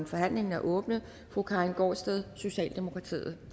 forhandlingen er åbnet fru karin gaardsted socialdemokratiet